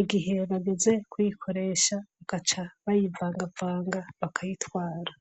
igihe bageze kuyikoresha bagaca bayivangavanga bakayitwara